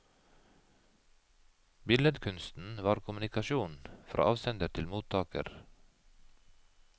Billedkunsten var kommunikasjon fra avsender til mottaker.